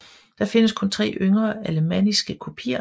Der findes kun tre yngre alemanniske kopier